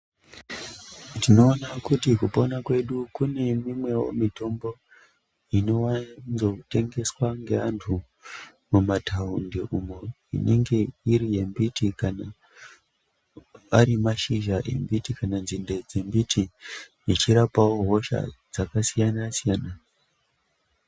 Ndinoona kuti kupona kwedu kune imwenivo mitombo inovanzo tengeswa ngeantu munataundi umo Inenge inenge iri yembiti kana ari mashizha embiti kana nzinde dzembiti dzichirapavo hosha dzakasiyana-siyana.